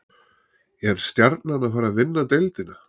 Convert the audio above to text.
Er Stjarnan að fara að vinna deildina?